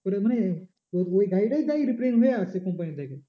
ওটা মানে ওই, ওই গাড়িটাই যায় repairing হয়ে আসে company থেকে।